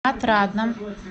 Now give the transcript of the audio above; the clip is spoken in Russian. отрадном